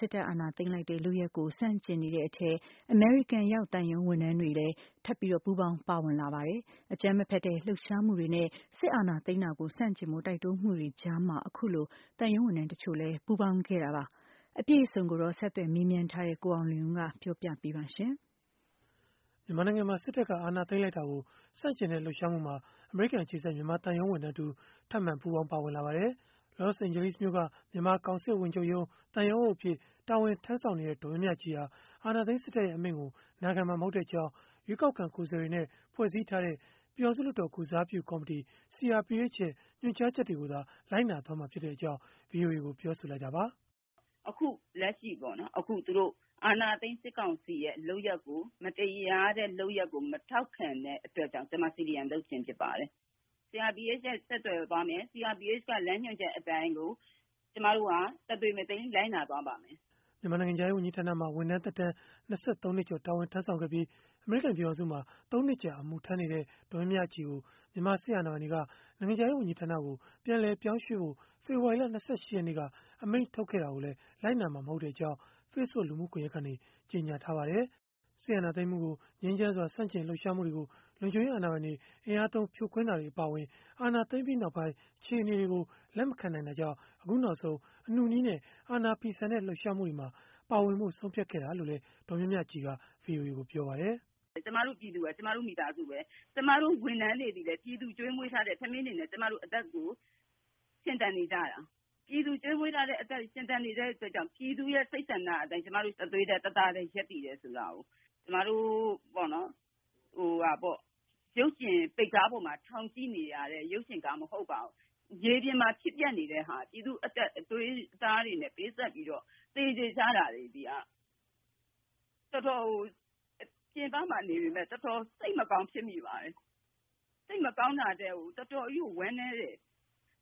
စစ်တပ်က အာဏာသိမ်းလိုက်တဲ့ လုပ်ရပ်ကို ဆန့်ကျင်နေကြတဲ့အထဲ အမေရိကန်ရောက် သံရုံးဝန်ထမ်းတွေ ထပ်မံပူးပေါင်းပါဝင်လာနေကြပါတယ်။ အကြမ်းမဖက်တဲ့ လှုပ်ရှားမှုတွေနဲ့ စစ်အာဏာသိမ်းတာကို ဆန့်ကျင်ဖို့ တိုက်တွန်းမှုတွေကြားမှာပဲ သံရုံးဝန်ထမ်းတချို့လည်း ပူးပေါင်းခဲ့ကြတာပါ။ အပြည့်အစုံကိုတော့ ဆက်သွယ်မေးမြန်းထားတဲ့ ကိုအောင်လွင်ဦးက ပြောပြပေးမှာ ဖြစ်ပါတယ်။ မြန်မာနိုင်ငံမှာ စစ်တပ်က အာဏာသိမ်းလိုက်တာကို ဆန့်ကျင်တဲ့ လှုပ်ရှားမှုမှာ အမေရိကန် အခြေစိုက် မြန်မာသံရုံးဝန်ထမ်းတဦး ထပ်မံပူးပေါင်း ပါဝင်လာပါတယ်။ ကယ်လီဖိုးနီးယားပြည်နယ်၊ လော့စ်အိန်ဂျယ်လိစ်မြို့က မြန်မာကောင်စစ်ဝန်ချုပ်ရုံး၊ သံရုံးအုပ်အဖြစ် တာဝန်ထမ်းဆောင်နေတဲ့ ဒေါ်မြမြကြည်ဟာ အာဏာသိမ်းစစ်တပ်ရဲ့ အမိန့်ကို နာခံမှာမဟုတ်ကြောင်း ရွေးကောက်ခံ ကိုယ်စားလှယ်တွေနဲ့ ဖွဲ့စည်းထားတဲ့ ပြည်ထောင်စု လွှတ်တော် ကိုယ်စားပြုကော်မတီ ရဲ့ ညွှန်ကြားချက်တွေကိုသာ လိုက်နာမှာဖြစ်ကြောင်း ဗွီအိုအေကို ပြောဆိုလိုက်တာပါ။ " အခုလက်ရှိ အာဏာသိမ်း စစ်ကောင်စီရဲ့ မတရားတဲ့လုပ်ရပ်ကို မထောက်ခံတဲ့အတွက်ကြောင့် ကျမ CDM လုပ်ခြင်းဖြစ်ပါတယ်။ CRPH နဲ့ ဆက်သွယ်သွားမယ်။ CRPH လမ်းညွှန်ချက်အတိုင်းကို ကျမတို့ တသွေမတိမ်း လိုက်နာသွားပါမယ်။” မြန်မာနိုင်ငံခြားရေးဝန်ကြီးဌာနမှာ ဝန်ထမ်းသက်တမ်း ၂၃ နှစ်ကျော် တာဝန်ထမ်းဆောင်ခဲ့ပြီး၊ အမေရိကန်ပြည်ထောင်စုမှာ ၃ နှစ်ကြာ အမှုထမ်းနေတဲ့ ဒေါ်မြမြကြည်ကို မြန်မာစစ်အာဏာပိုင်တွေက နိုင်ငံခြားရေးဝန်ကြီးဌာနကို ပြန်လည်ပြောင်းရွှေ့ဖို့ ဖေဖော်ဝါရီလ ၂၈ ရက်နေ့က အမိန့်ထုတ်ခဲ့တာကိုလည်း လိုက်နာမှာ မဟုတ်ကြောင်း Facebook လူမှုကွန်ရက်ကနေ ကြေညာထားပါတယ်။ စစ်အာဏာသိမ်းမှုကို ငြိမ်းချမ်းစွာ ဆန့်ကျင် လှုပ်ရှားမှုတွေကို လုံခြုံရေးအာဏာပိုင်တွေ အင်အားသုံး ဖြိုခွင်းမှုတွေ အပါအဝင် အာဏာသိမ်းပြီးနောက်ပိုင်း အခြေအနေတွေကို လက်မခံနိုင်တာကြောင့် အခုနောက်ဆုံး အနုနည်းနဲ့ အာဏာဖီဆန်တဲ့ လှုပ်ရှားမှုမှာ ပါဝင်ဖို့ ဆုံးဖြတ်ခဲ့တာလို့လည်း ဒေါ်မြမြကြည်က ပြောပါတယ်။ “ ကျမတို့ ပြည်သူဟာ ကျမတို့ မိသားစုပဲ၊ ကျမတို့ ဝန်ထမ်းတွေသည်လည်း ပြည်သူကျွေးမွေးထားတဲ့ ထမင်းတွေနဲ့ ကျမတို့ အသက်ရှင်သန်နေရတာ။ ပြည်သူကျွေးမွေးထားတဲ့အတွက် အသက်ရှင်သန်နေတဲ့အတွက်ကြောင့် ပြည်သူရဲ့ စိတ်ဆန္ဒအတိုင်း ကျမတို့ တသွေးတည်း တသားတည်း ရပ်တည်တယ်ဆိုတာကို ကျမတို့ ရုပ်ရှင်ပိတ်ကားပေါ်မှာ ကြည့်နေရတဲ့ ရုပ်ရှင်ပိတ်ကားမဟုတ်ပါဘူး။ မြေပြင်မှာ ဖြစ်ပျက်နေတဲ့ ပြည်သူ့အသွေးအသားတွေနဲ့ ပေးဆပ်ပြီးတော့ သေကျေနေကြတာ ဒါတွေက ကျမတို့ ပြင်ပမှာ နေပေမယ့် တော်တော်ကို စိတ်မကောင်းဖြစ်မိပါတယ်။ စိတ်မကောင်းတာထက်ကို တော်တော်ဝမ်းနည်းတယ်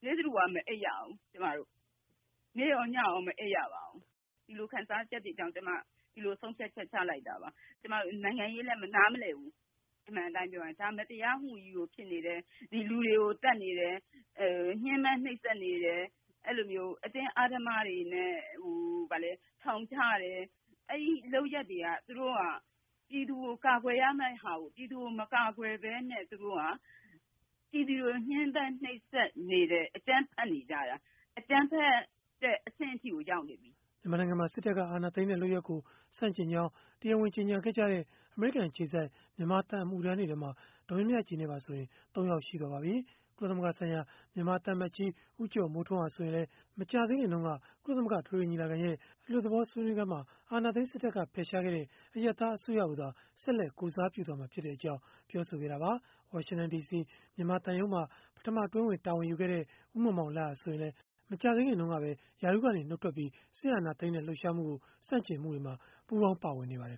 နေ့တဓူ၀ မအိပ်ရဘူး ကျမတို့။ နေ့ရောညရော မအိပ်ရပါဘူး။ ဒီလိုခံစားချက်တွေကြောင့် ကျမ ဒီလို ဆုံးဖြတ်ချက် ချလိုက်တာပါ။ ကျမ နိုင်ငံရေးလည်း နားမလည်ဘူး အမှန်အတိုင်းပြောရင်၊ ဒါမတရားမှုကြီးဖြစ်နေတယ်။ ဒါလူတွေသတ်နေတယ်၊ ညှဉ်းပန်းနှိပ်စက်နေတယ်။ လူတွေကို အတင်းအဓမ္မတွေနဲ့ ထောင်ချတယ်။ အဲဒီလုပ်ရပ်တွေက သူတို့က ပြည်သူကို ကာကွယ်ရမယ့်ဟာကို ပြည်သူကို မကာကွယ်ပဲနဲ့ သူတို့က ပြည်သူကို ညှဉ်းပန်းနှိပ်စက်နေတယ်။ အကြမ်းဖက်နေကြတာ ၊ အကြမ်းဖက်တဲ့ အဆင့်အထိကိုရောက်နေပြီ။” မြန်မာနိုင်ငံမှာ စစ်တပ်က အာဏာသိမ်းတဲ့ လုပ်ရပ်ကို ဆန့်ကျင်ကြောင်း တရားဝင်ကြေညာခဲ့ကြတဲ့ အမေရိကန်အခြေစိုက် မြန်မာသံအမှုထမ်းတွေထဲမှာ ဒေါ်မြမြကြည်နဲ့ပါဆိုရင် ၃ ယောက်ရှိသွားပါပြီ။ ကုလသမဂ္ဂဆိုင်ရာ မြန်မာသံအမတ်ကြီး ဦးကျော်မိုးထွန်း ဟာ ဆိုရင်လည်း မကြာသေးခင်တုန်းက ကုလသမဂ္ဂ အထွေထွေညီလာခံရဲ့ အလွတ်သဘော ဆွေးနွေးခန်းမှာ အာဏာသိမ်းစစ်တပ်က ဖယ်ရှားခဲ့တဲ့ အရပ်သား အစိုးရကိုသာ ဆက်လက် ကိုယ်စားပြုမှာဖြစ်ကြောင်း ပြောဆိုခဲ့တာပါ။ ဝါရှင်တန်ဒီစီ မြန်မာသံရုံးမှာ ပထမအတွင်းဝန် တာဝန်ယူခဲ့တဲ့ ဦးမောင်မောင်လတ်ဟာဆိုရင်လည်း မကြာသေးခင်ကပဲ ရာထူးကနေ နုတ်ထွက်ပြီး စစ်အာဏာသိမ်းတဲ့ လှုပ်ရှားမှုကို ဆန့်ကျင်မှုတွေမှာ ပူးပေါင်းပါဝင်နေပါတယ်